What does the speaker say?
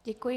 Děkuji.